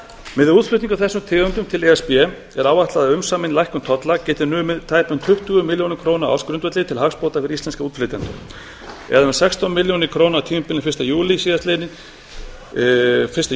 útflutning á þessum tegundum til e s b er áætlað að umsamin lækkun tolla geti numið tæpum tuttugu milljónum króna á ársgrundvelli til hagsbóta fyrir íslenska útflytjendur eða um sextán milljónum króna á tímabilinu fyrsta